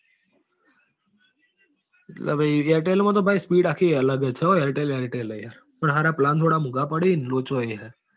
એટલે તો ભાઈ airtel માં તો ભાઈ speed આખી અલગ જ છે airtel airtel જ છે યાર. પણ સાલા plan થોડા મોંઘા પડે છે ને લોચો એ જ છે